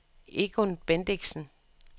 Egon Bendixen